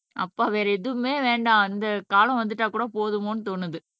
அப்பா வேற எதுவுமே வேண்டாம் அந்த காலம் வந்துட்டா கூட போதுமோன்னு தோணுது